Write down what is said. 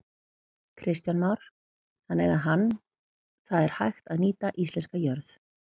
Kristján Már: Þannig að hann, það er hægt að nýta íslenska jörð?